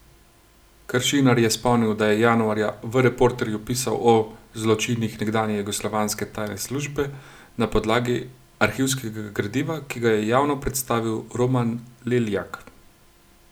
Kršinar je spomnil, da je januarja v Reporterju pisal o zločinih nekdanje jugoslovanske tajne službe na podlagi arhivskega gradiva, ki ga je javno predstavil Roman Leljak.